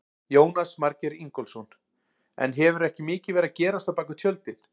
Jónas Margeir Ingólfsson: En hefur ekki mikið verið að gerast á bakvið tjöldin?